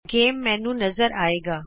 ਖੇਡ ਮੈਨਯੂ ਨਜ਼ਰ ਆਏਗਾ